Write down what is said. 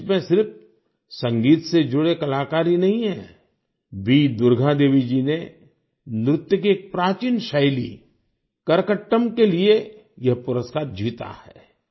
इस लिस्ट में सिर्फ संगीत से जुड़े कलाकार ही नहीं है वी दुर्गा देवी जी ने नृत्य की एक प्राचीन शैलीकरकट्टम के लिए यह पुरस्कार जीता है